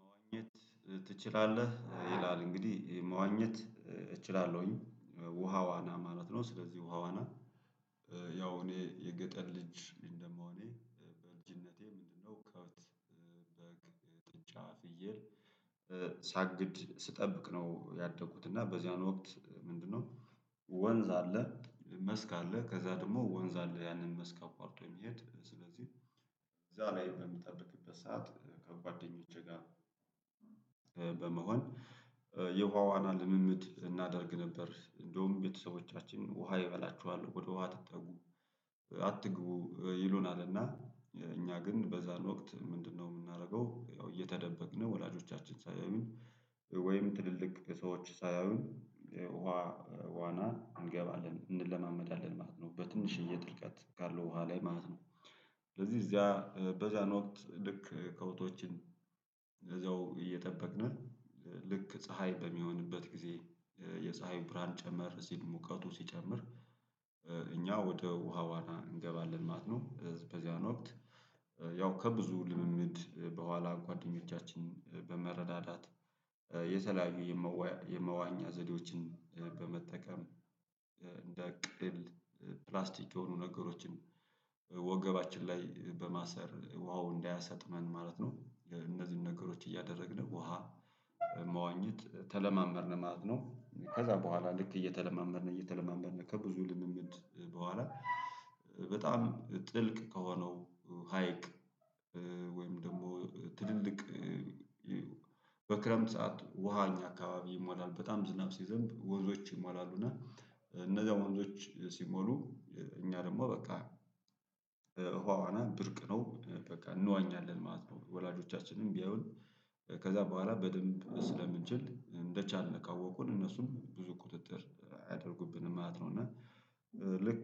መዋኘት ትችላለህ ይላል እንግዲህ መዋኘት እችላለሁኝ ውሃ ዋና ማለት ነው። ስለዚህ ውሃዋና ያው እኔ የገጠር ልጅ እንደመሆኔ በልጅነቴ ምንድንነው? ከብት በግ ጥጃ ፍየል ሳግድ ስጠብቅ ነው። ያደጉት እና በዚያን ወቅት ምንድንነው? ወንዝ አለ መስክ አለ ከዛ ደግሞ ወንዝ አለ ያንን መስክ አቋርጦ የሚሄድ ስለዚህ። እዛ ላይ በምጠብቅበት ሰዓት ከጓደኞቼ ጋር በመሆን የውሃ ዋና ልምምድ እናደርግ ነበር። እንደውም ቤተሰቦቻችን ውሃ ይበላችኋል ወደ ውሃ ትአትጠጉ አትግቡ ይሉናል እና እኛ ግን በዛን ወቅት ምንድንነው የምናደርገው? ያው እየተደበቅን ወላጆቻችን ሳያዩን ወይም ትልልቅ ሰዎች ሳያዩን ውሃ ዋና እንገባለን እንለማመዳለን ማለት ነው። በትንሽዬ ጥልቀት ካለው ውሃ ላይ ማለት ነው። ስለዚህ እዚያ በዛን ወቅት ልክ ከብቶችን እዛው እየጠበቅን ልክ ፀሀይ በሚሆንበት ጊዜ የፀሀይ ብርሃን ጨመር ሲል ሙቀቱ ሲጨምር እኛ ወደ ውሃዋና እንገባለን ማለት ነው። በዚያን ወቅት ያው ከብዙ ልምምድ በኋላ ጓደኞቻችን በመረዳዳት የተለያዩ የመዋ የመዋኛ ዘዴዎችን በመጠቀም እንደ ቅል ፕላስቲክ የሆኑ ነገሮችን ወገባችን ላይ በማሰር ውሃው እንዳያሰጥመን ማለት ነው። እነዚህን ነገሮች እያደረግን ውሃ መዋኘት ተለማመድን ማለት ነው። ከዛ በኋላ ልክ እየተለማመድን እየተለማመድን ከብዙ ልምምድ በኋላ በጣም ጥልቅ ከሆነው ሀይቅ። ወይም ደግሞ ትልልቅ በክረምት ሰዓት ውሃ እኛ አካባቢ ይሞላል በጣም ዝናብ ሲዘንብ ወንዞች ይሟላሉ እና እነዛ ወንዞች ሲሞሉ እኛ ደግሞ በቃ ውሃዋና ብርቅ ነው። በቃ እንዋኛለን ማለት ነው ወላጆቻችንም ቢያዩን ከዛ በኋላ በደንብ ስለምንችል እንደቻለን ካወቁን እነሱም ብዙ ቁጥጥር አያደርጉብንም ማለት ነው። እና ልክ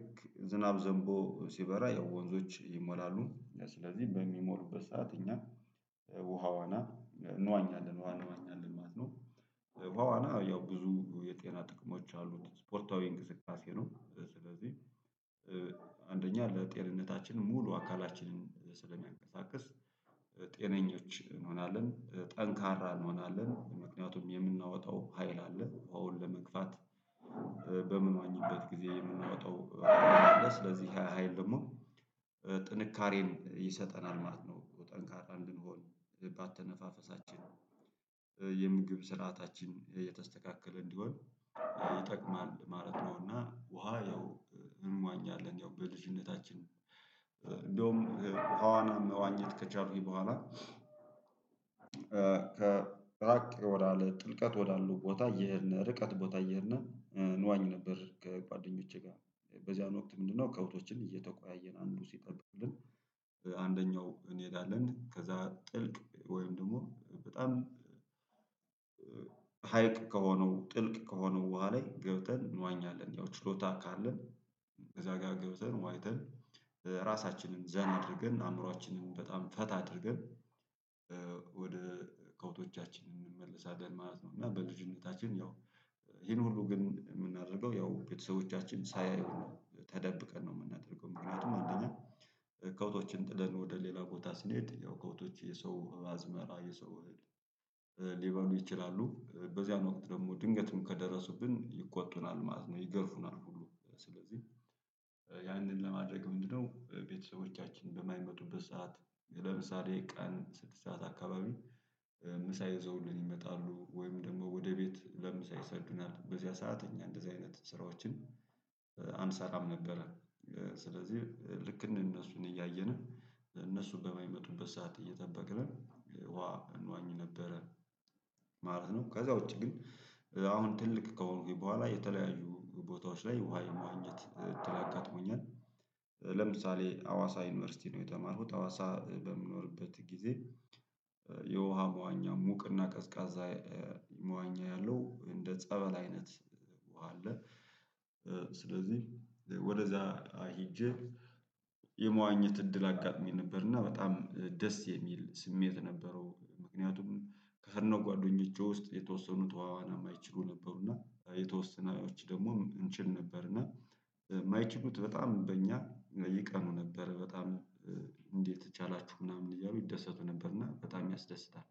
ዝናብ ዘንቦ ሲበራ ያው ወንዞች ይሞላሉ ስለዚህ በሚሞሉበት ሰዓት እኛ ውሃዋና እንዋኛለን ውሃ እንዋኛለን ማለት ነው። ውሃዋና ያው ብዙ የጤና ጥቅሞች አሉት ስፖርታዊ እንቅስቃሴ ነው። ስለዚህ አንደኛ ለጤንነታችን ሙሉ አካላችንን ስለሚያንቀሳቅስ ጤነኞች እንሆናለን ጠንካራ እንሆናለን ምክንያቱም የምናወጣው ሀይል አለ ውሃን ለመግፋት በምንዋኝበት ጊዜ የምናወጣው ሀይል አለ ስለዚህ ያ ሀይል ደግሞ ጥንካሬን ይሰጠናል ማለት ነው። ጠንካራ እንድንሆን በአተነፋፈሳችን የምግብ ስርዓታችን የተስተካከለ እንዲሆን ይጠቅማል ማለት ነው። እና ውሃ ያው እንዋኛለን ያው በልጅነታችን እንደውም ውሃዋና መዋኘት ከቻልኩኝ በኋላ ከራቅ ወዳለ ጥልቀት ወዳለው ቦታ እየሄድን ርቀት ቦታ እየሄድን እንዋኝ ነበር። ከጓደኞቼ ጋር በዚያን ወቅት ምንድንነው? ከብቶችን እየተቆያየን አንዱ ሲጠብቅልን አንደኛው እንሄዳለን ከዛ ጥልቅ ወይም ደግሞ በጣም ሀይቅ ከሆነው ጥልቅ ከሆነው ውሃ ላይ ገብተን እንዋኛለን ያው ችሎታ ካለን እዛ ጋ ገብተን ዋኝተን ራሳችንን ዘና አድርገን አእምሮአችንን በጣም ፈታ አድርገን ወደ ከብቶቻችን እንመለሳለን ማለት ነው። እና በልጅነታችን ያው ይሄን ሁሉ ግን የምናደርገው ያው ቤተሰቦቻችን ሳያዩን ነው ተደብቀን ነው። የምናደርገው ምክንያቱም አንደኛ ከብቶችን ጥለን ወደ ሌላ ቦታ ስንሄድ ያው ከብቶች የሰው አዝመራ የሰው እህል ሊበሉ ይችላሉ በዚያን ወቅት ደግሞ ድንገትም ከደረሱብን ይቆጡናል ማለት ነው። ይገርፉናል ሁሉ ስለዚህ ያንን ለማድረግ ምንድነው ቤተሰቦቻችን በማይመጡበት ሰዓት ለምሳሌ ቀን ስድስት ሰዓት አካባቢ ምሳ ይዘውልን ይመጣሉ ወይም ደግሞ ወደ ቤት ለምሳ ይሰዱናል በዚያ ሰዓት እኛ እንደዚህ አይነት ስራዎችን አንሰራም ነበረ። ስለዚህ ልክ እንደነሱን እያየን እነሱ በማይመጡበት ሰዓት እየጠበቅን እንዋኝ ነበረ ማለት ነው። ከዛ ውጪ ግን አሁን ትልቅ ከሆንኩኝ በኋላ የተለያዩ ቦታዎች ላይ ውሃ የመዋኘትት እድል አጋጥሞኛል። ለምሳሌ አዋሳ ዩኒቨርሲቲ ነው የተማርኩት አዋሳ በምኖርበት ጊዜ የውሃ መዋኛ ሙቅና ቀዝቃዛ መዋኛ ያለው እንደ ጸበል አይነት ውሃ አለ። ስለዚህ ወደዛ ሄጄ የመዋኘት እድል አጋጥሞኝ ነበር። እና በጣም ደስ የሚል ስሜት ነበረው። ምክንያቱም ከሄድነው ጓደኞቼ ውስጥ የተወሰኑት ውሃዋና የማይችሉ ነበሩ እና የተወሰነዎች ደግሞ እንችል ነበር እና የማይችሉት በጣም በእኛ ይቀኑ ነበር በጣም እንዴት ቻላችሁ ምናምን እያሉ ይደሰቱ ነበር። እና በጣም ያስደስታል